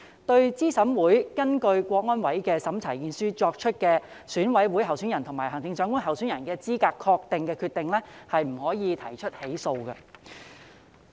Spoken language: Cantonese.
對資審會根據香港國安委的審查意見書作出的選委會委員候選人及行政長官候選人資格確認的決定，不得提起訴訟。